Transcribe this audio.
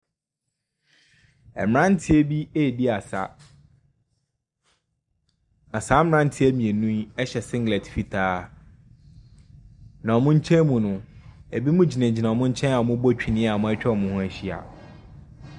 Mmranteɛ bi redi asa. Na saa mmranteɛ mmienu yi hyɛ singlet fitaa. Na wɔn nkyɛn mu no, ebinom gyinagyina wɔn nkyɛn a wɔrebɔ twene a wɔatwa wɔn ho ahyia.